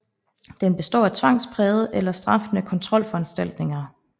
Den består af tvangsprægede eller straffende kontrolforanstaltninger